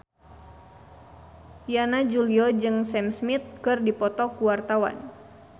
Yana Julio jeung Sam Smith keur dipoto ku wartawan